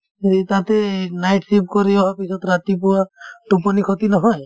সেই তাতে এই night shift কৰি হোৱাৰ পিছত ৰাতিপুৱা টোপনি খতি নহয়